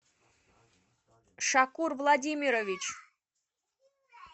шакур владимирович